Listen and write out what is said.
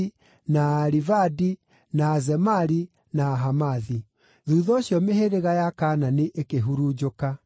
na Aarivadi, na Azemari, na Ahamathi. Thuutha ũcio mĩhĩrĩga ya Kaanani ĩkĩhurunjũka,